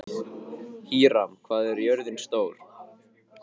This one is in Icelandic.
Híram, hvað er jörðin stór?